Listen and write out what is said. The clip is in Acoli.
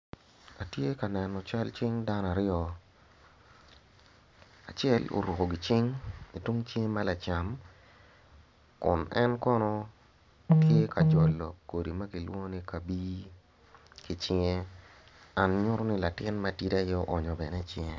Atye ka neno cal cing dano aryo, acel oruko gicing itung cinge me lacam kun en kono tye kajolo kodi ma kilwongo ni kabii ki cinge dok nyuto ni latin matidi aye oonyo bene icinge